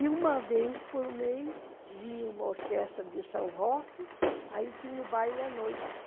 E uma vez por mês vinha uma orquestra de São Roque, aí tinha o baile à noite.